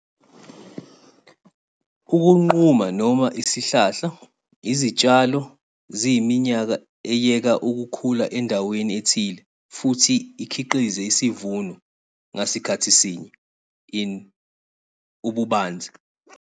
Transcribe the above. Ukunquma, noma isihlahla, izitshalo ziyiminyaka eyeka ukukhula endaweni ethile futhi ikhiqize isivuno ngasikhathi sinye. in, ububanzi.